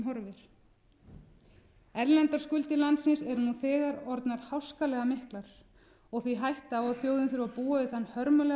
horfir erlendar skuldir landsins eru nú þegar orðnar háskalega miklar og því hætta á að þjóðin þurfi að búa við þann hörmulega